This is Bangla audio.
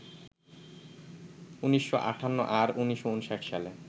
১৯৫৮ আর ১৯৫৯ সালে